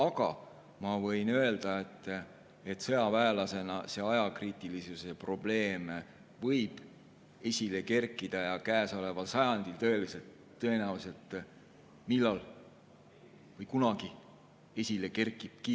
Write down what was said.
Aga ma võin öelda sõjaväelasena, et see ajakriitilisuse probleem võib esile kerkida ja käesoleval sajandil tõenäoliselt millalgi või kunagi esile kerkibki.